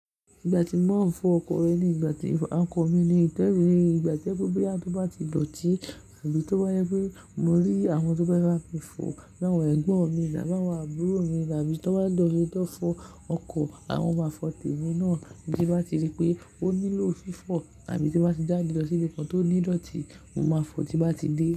Ìgbà tí màá ń fọ ọkọ̀ rẹ ni ìgbà tí ọkọ̀ mi ni ì, ìgbà tojepe boya tó bá ti dọ̀tí àbí tó bá jẹ pé mo rí awọn tó fe bami fò láwọn ẹ̀gbọ́n mi tabi àwọn àbúrò mi lábí tó bá dọ̀tí lọ fọ ọkọ̀ àwọn màá fọ temi náà tí bá ti rí pé ó nílò fífọ̀ àbí tó bá ti jáde lọ sí ibi kan tó ní dọ̀tí, mo máa fọ tí bá ti dé.